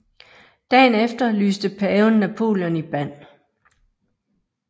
Dagen efter lyste paven Napoleon i band